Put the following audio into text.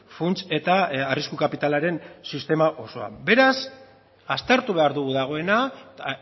funts eta arrisku kapitalaren sistema osoan beraz aztertu behar dugu dagoena eta